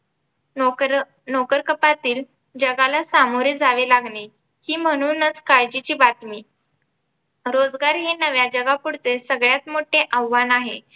नोकर नोकरकपातील जगाला सामोरे जावे लागणे ही म्हणूनच काळजीची बातमी रोजगार हे नव्या जगापुढचे सगळ्यात मोठे आव्हान आहे